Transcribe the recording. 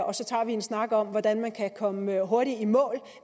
og så tager vi en snak om hvordan man kan komme hurtigt i mål